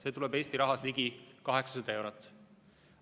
See on Eesti rahas ligi 800 eurot.